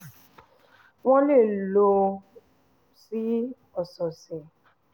wọ́n lè lò ó sí ọṣẹ ọṣẹ